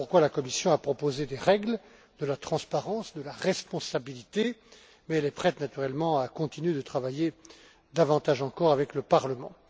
Voilà pourquoi la Commission a proposé des règles, de la transparence, de la responsabilité, mais elle est prête, naturellement, à continuer de travailler davantage encore avec le Parlement.